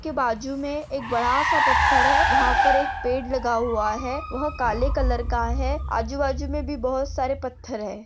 उसके बाजुमे एक बड़ा सा पत्थर है वहा पर एक पेड़ लगा हुआ है वह काले कलर का है। आजूबाजू मे भी बहुत सारे पत्थर है।